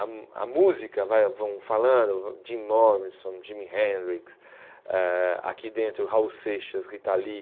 A a música, vai vão falando, Jim Morrison, Jimi Hendrix, eh aqui dentro, Raul Seixas, Rita Lee.